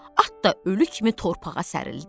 At da ölü kimi torpağa sərildi.